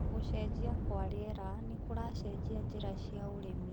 Gũcenjia kwa rĩera nĩkũracenjia njĩra cia ũrĩmi.